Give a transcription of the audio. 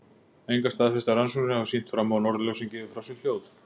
Engar staðfestar rannsóknir hafa sýnt fram á að norðurljósin gefi frá sér hljóð.